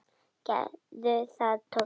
Gerðu það, Tóti!